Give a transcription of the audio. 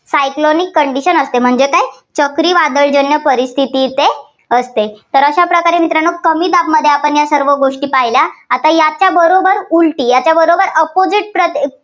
cyclonic condition असते. म्हणजे काय चक्रीवादळजन्य परिस्थिती येथे असते. तर अशा प्रकारे मित्रांनो कमी दाबमध्ये या सर्व गोष्टी पाहिल्या. आता याच्या बरोबर उलटी, याच्याबरोबर opposite